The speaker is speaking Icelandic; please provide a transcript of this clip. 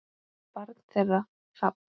Barn þeirra: Hrafn.